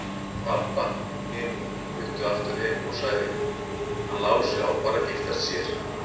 Og Abba hin flutti aftur heim og sagði: Hann Lási á bara að giftast sér.